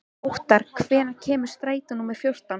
Óttar, hvenær kemur strætó númer fjórtán?